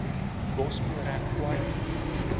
gospel rap kwaito